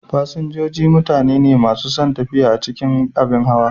Fasinjoji mutane ne masu son tafiya a cikin abin hawa.